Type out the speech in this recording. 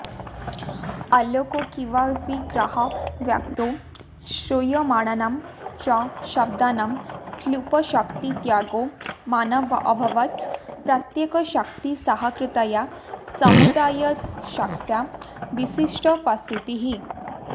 अलोकिकविग्रहवाक्ये श्रूयमाणानां च शब्दानां क्लृप्तशक्तित्यागे मानाऽभावात् प्रत्येकशक्तिसहकृतया समुदायशक्त्या विशिष्टोपस्थितिः